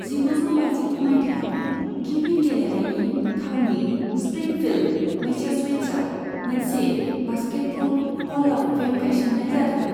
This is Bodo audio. जिगुजौ बाजिगु मायथाइयाव, गिबि गेलेनायनि थावनि स्प्रिंफील्ड, मैसाचुसेट्साव मोनसे बास्केटबल हल अफ फेम गायसन्नाय जादोंमोन।